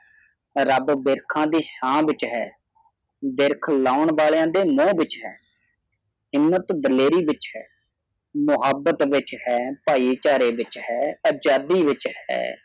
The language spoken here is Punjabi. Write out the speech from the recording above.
ਰਾਬ ਵਿਰਖਾ ਦੀ ਸ਼ਾਨ ਵਿਚ ਹੈ ਵਿਰਕ ਲੌਨ ਵਾਲੀਆ ਦੀ ਮੋਹ ਵਿਚ ਹੈ ਹਿੰਮਤ ਦਲੇਰੀ ਵਿਚ ਹੈ ਮਹਾਵਾਬਤ ਵਿਚ ਹੈ ਭਾਈ ਚਾਰੇ ਵਿਚ ਹੈ ਆਜ਼ਾਦੀ ਵਿਚ ਹੈ